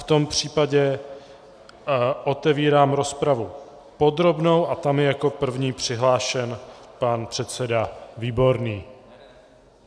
V tom případě otevírám rozpravu podrobnou a tam je jako první přihlášen pan předseda Výborný.